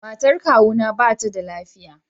Matan kawu na ba ta da lafiya.